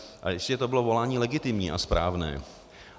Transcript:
A jistěže to bylo volání legitimní a správné.